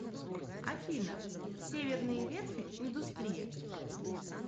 афина северные верфи индустрия